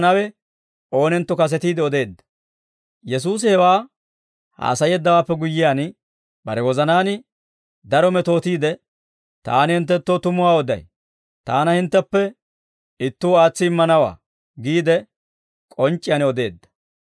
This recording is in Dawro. Yesuusi hewaa haasayeeddawaappe guyyiyaan, bare wozanaan daro metootiide, «Taani hinttenttoo tumuwaa oday; Taana hintteppe ittuu aatsi immanawaa» giide k'onc'c'iyaan odeedda.